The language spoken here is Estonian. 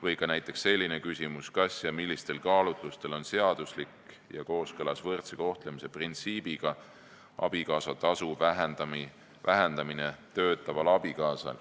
Või näiteks selline küsimus: kas ja millistel kaalutlustel on seaduslik ja võrdse kohtlemise printsiibiga kooskõlas töötava abikaasa abikaasatasu vähendamine?